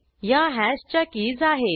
ह्या हॅशच्या कीज आहेत